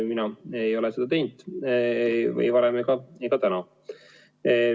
Mina ei ole seda teinud ei varem ega täna.